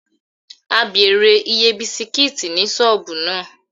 We enquired about the price of biscuit in that shop